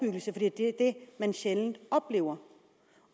det er det man sjældent oplever